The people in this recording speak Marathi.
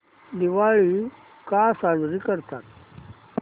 दिवाळी का साजरी करतात